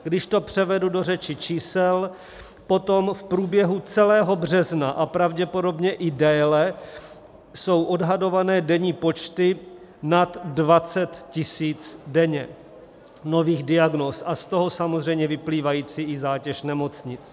Když to převedu do řeči čísel, potom v průběhu celého března a pravděpodobně i déle jsou odhadované denní počty nad 20 000 denně nových diagnóz, a z toho samozřejmě vyplývající i zátěž nemocnic.